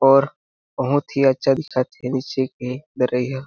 और बहुत ही अच्छा दिखत हे नीचे के दरहिया --